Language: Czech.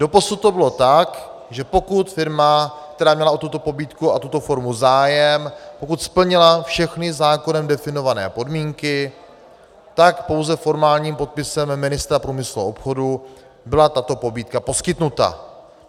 Doposud to bylo tak, že pokud firma, která měla o tuto pobídku a tuto formu zájem, pokud splnila všechny zákonem definované podmínky, tak pouze formálním podpisem ministra průmyslu a obchodu byla tato pobídka poskytnuta.